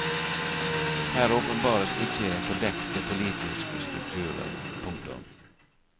Her åpenbares ikke fordekte politiske strukturer. punktum